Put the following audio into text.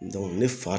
ne fa